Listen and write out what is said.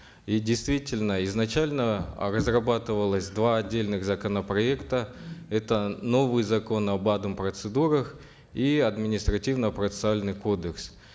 и действительно изначально э разрабатывалось два отдельных законопроекта это новый закон об адм процедурах и административно процессуальный кодекс